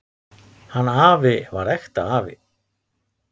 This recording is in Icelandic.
Hann afi var ekta afi.